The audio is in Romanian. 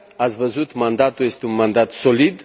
Ați văzut mandatul, este un mandat solid.